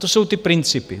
To jsou ty principy.